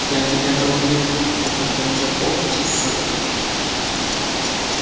я тебя долблю об этом уже полчаса